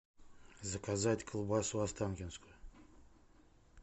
заказать колбасу останкинскую